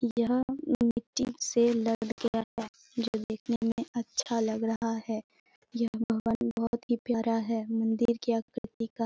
यह मिट्टी से लद गया है जो दिखने में अच्छा लग रहा है यह भवन बहुत ही प्यारा है मंदिर के आकृति का।